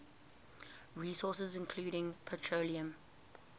resources include petroleum